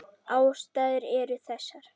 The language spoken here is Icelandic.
Ástæður eru þessar